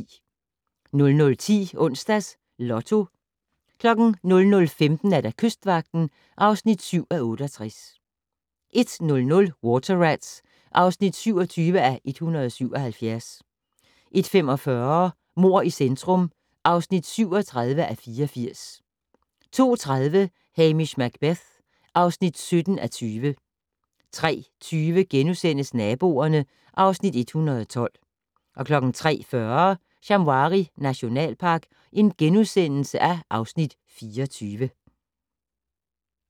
00:10: Onsdags Lotto 00:15: Kystvagten (7:68) 01:00: Water Rats (27:177) 01:45: Mord i centrum (37:84) 02:30: Hamish Macbeth (17:20) 03:20: Naboerne (Afs. 112)* 03:40: Shamwari nationalpark (Afs. 24)*